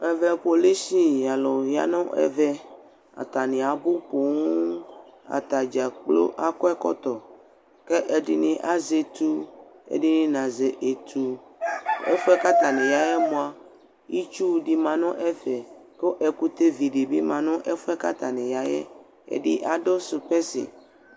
Ɛvɛ kpolusi alʋ ya nʋ ɛvɛ: atanɩ abʋ poo , atadza kplo akɔ ɛkɔtɔ K'ɛ ɛdɩnɩ azɛ etu, ɛdɩnɩ nazɛ etu; ɛfʋɛ k'atanɩ yaɛ mʋa , itsudɩ ma n'ɛfɛ , kʋ ɛkʋtɛ vidɩ bɩ ma nʋ ɛfʋɛ k'atanɩ ya yɛ ; ɛdɩ adʋ sʋpɛsɩ